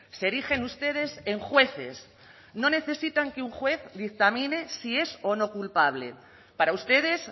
se erigen ustedes en jueces no necesitan que un juez dictamine si es o no culpable para ustedes